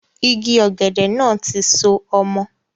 Igi ọ̀gẹ̀dẹ̀ náà tí ń so ọmọ